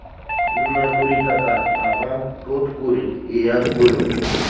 накури кота ага кот курит и я курю